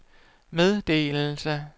meddelelse